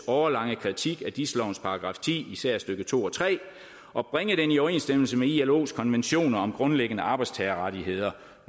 årelange kritik af dis lovens § ti især stykke to og tre og bringe den i overensstemmelse med ilos konventioner om grundlæggende arbejdstagerrettigheder